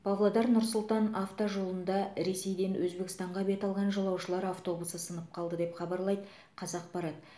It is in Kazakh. павлодар нұр сұлтан автожолында ресейден өзбекстанға бет алған жолаушылар автобусы сынып қалды деп хабарлайды қазақпарат